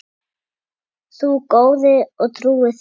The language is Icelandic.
Þú góði og trúi þjónn.